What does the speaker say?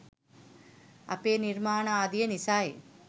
අපේ නිර්මාණ ආදිය නිසයි.